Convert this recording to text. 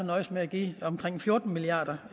nøjedes med at give omkring fjorten milliard